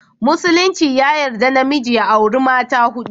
Musulinci ya yarda da namiji ya auri mata hudu